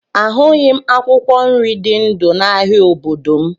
A hụghị m akwụkwọ nri dị ndụ n'ahia obodo m